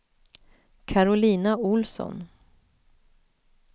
Karolina Ohlsson